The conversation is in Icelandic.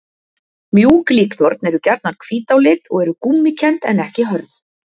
Mjúk líkþorn eru gjarnan hvít á lit og eru gúmmíkennd en ekki hörð.